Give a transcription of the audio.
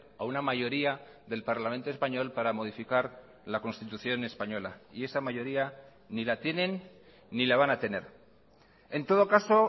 a una mayoría del parlamento español para modificar la constitución española y esa mayoría ni la tienen ni la van a tener en todo caso